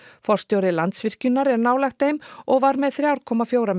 forstjóri Landsvirkjunar er nálægt þeim og var með þrjá komma fjóra